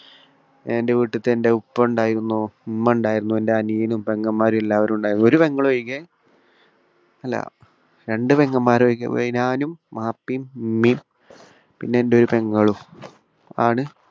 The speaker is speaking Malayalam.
എന്റെ വീട്ടിലത്തെ എന്റെ ഉപ്പ ഉണ്ടായിരുന്നു, ഉമ്മ ഉണ്ടായിരുന്നു. എന്റെ അനിയനും പെങ്ങൻമാരും എല്ലാവരും ഉണ്ടായിരുന്നു. ഒരു പെങ്ങളൊഴികെ അല്ല രണ്ടു പെങ്ങൻമാരൊഴികെ ഞാനും ബാപ്പയും ഉമ്മയും പിന്നെ എന്റെ ഒരു പെങ്ങളും ആണ്